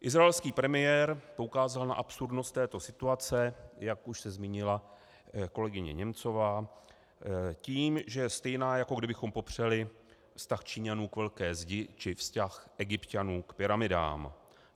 Izraelský premiér poukázal na absurdnost této situace, jak už se zmínila kolegyně Němcová, tím, že je stejná, jako kdybychom popřeli vztah Číňanů k Velké zdi či vztah Egypťanů k pyramidám.